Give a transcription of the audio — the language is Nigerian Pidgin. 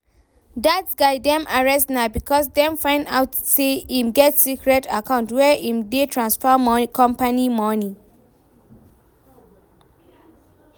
Dat guy dem arrest na because dem find out say im get secret account where im dey transfer company money